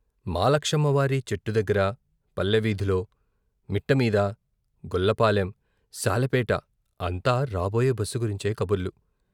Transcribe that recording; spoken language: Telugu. మాలక్ష్మమ్మ వారి చెట్టు దగ్గర, పల్లె వీధిలో, మిట్టమీద, గొల్ల పాలెం, సాలెపేట అంతా రాబోయే బస్సు గురించే కబుర్లు.